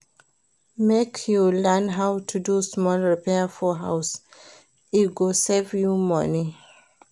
Make you learn how to do small repair for house, e go save you money.